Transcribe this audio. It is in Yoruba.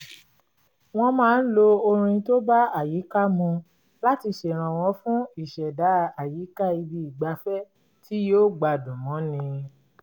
wọ́n máa ń lo orin tó bá àyíká mu láti ṣèrànwọ́ fún ìṣẹ̀dá àyíká ibi ìgbafẹ́ tí yóò gbádùn mọ́ni